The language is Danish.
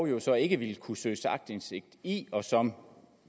jo så ikke vil kunne søges aktindsigt i og som